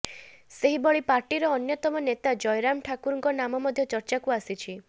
ସେହିଭଳି ପାର୍ଟିର ଅନ୍ୟତମ ନେତା ଜୟରାମ ଠାକୁରଙ୍କ ନାମ ମଧ୍ୟ ଚର୍ଚାକୁ ଆସିଛି